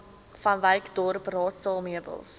vanwyksdorp raadsaal meubels